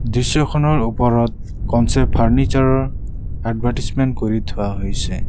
দৃশ্যখনৰ ওপৰত concept furniture ৰ এভাৰটাইজমেন কৰি থোৱা হৈছে।